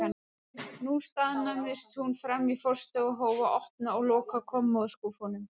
Nú staðnæmdist hún frammi í forstofu og hóf að opna og loka kommóðuskúffum.